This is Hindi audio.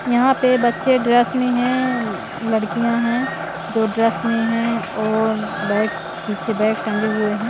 यहां पे बच्चे ड्रेस में हैं अ लड़कियां हैं जो ड्रेस में हैं और बैग पीछे बैग टंगे हुए है ।